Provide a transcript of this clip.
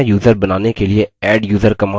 नया यूज़र बनाने के लिए adduser command